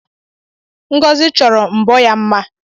Ngozi chọrọ mbọ ya mma